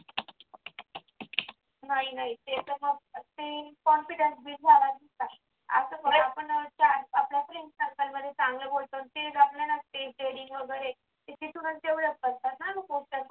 नाही नाही ते आता ते confidence build झाला तिचा आता आपण आपल्या याच्यामध्ये चांगलं बोलतो ते heading वगैरे किती student जेवढे असतात ना